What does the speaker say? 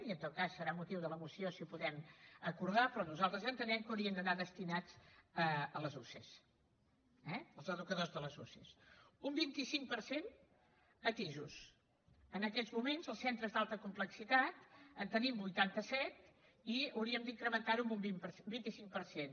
i en tot cas serà motiu de la moció si ho podem acordar però nosaltres entenem que haurien d’anar destinats a les usee eh als educadors de les usee un vint cinc per cent a tis en aquests moments als centres d’alta complexitat en tenim vuitanta set i hauríem d’incrementar ho en un vint cinc per cent